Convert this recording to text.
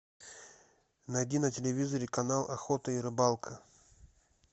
найди на телевизоре канал охота и рыбалка